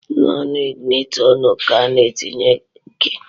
N’onu iginitọnu ka a na-etinye ki